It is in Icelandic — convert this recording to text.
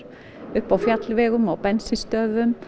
uppi á fjallvegum á bensínstöðvum